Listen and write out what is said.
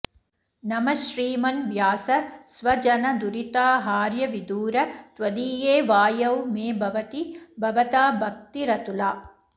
नमः श्रीमन् व्यास स्वजनदुरिताहार्यविधुर त्वदीये वायौ मे भवति भवताद्भक्तिरतुला